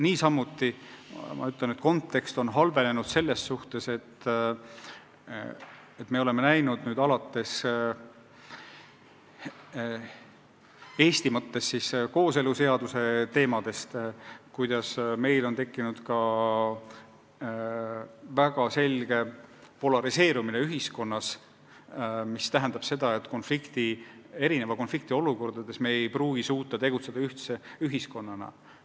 Niisamuti on kontekst halvenenud selles mõttes, et alates kas või kooseluseadusega seotud probleemide tekkest on meil täheldatav üldse väga selge polariseerumine ühiskonnas, mis tähendab seda, et konfliktiolukordades me ei pruugi suuta tegutseda ühtse ühiskonnana.